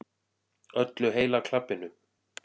Öllu heila klabbinu.